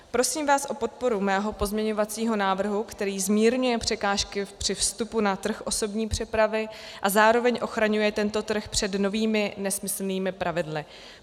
Prosím vás o podporu mého pozměňovacího návrhu, který zmírňuje překážky při vstupu na trh osobní přepravy a zároveň ochraňuje tento trh před novými nesmyslnými pravidly.